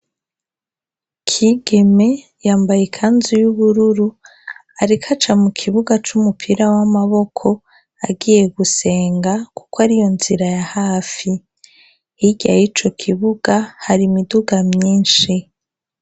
Kigeme yambaye ikanzu y'ubururu ariko aca mu kibuga c'umupira w'amaboko agiye gusenga kuko ari iyo nzira ya hafi, hirya yico kibuga hari imiduga myinshi.